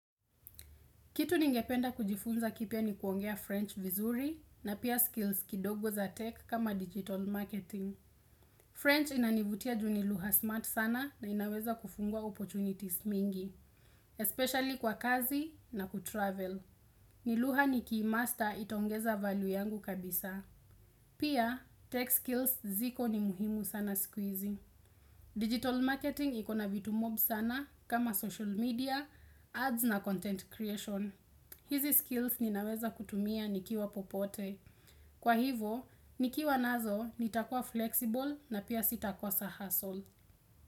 Kitu ningependa kujifunza kipya ni kuongea French vizuri na pia skills kidogo za tech kama digital marketing. French inanivutia juu ni lugha smart sana na inaweza kufungua opportunities mingi, especially kwa kazi na kutravel. Ni lugha nikiimaster itaongeza value yangu kabisa. Pia, tech skills ziko ni muhimu sana sikuizi. Digital marketing iko na vitu mob sana kama social media, ads na content creation. Hizi skills ninaweza kutumia nikiwa popote. Kwa hivo, nikiwa nazo nitakua flexible na pia sitakosa hustle.